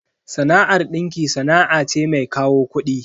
Sana'ar dinki sana'a ce mai kawo kudi.